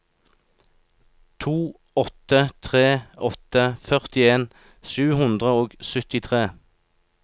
to åtte tre åtte førtien sju hundre og syttitre